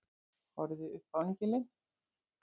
Horfði upp á engilinn.